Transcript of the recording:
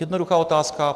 Jednoduchá otázka.